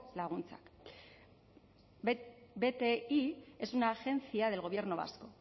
laguntzak bti es una agencia del gobierno vasco